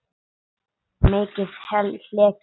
Já og mikið hlegið.